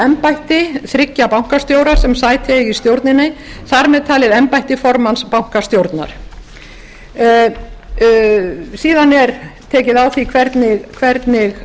embætti þriggja bankastjóra sem sæti eiga í stjórninni þar með talið embætti formanns bankastjórnar síðan er tekið á því hvernig